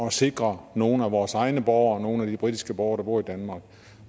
at sikre nogle af vores egne borgere og nogle af de britiske borgere der bor i danmark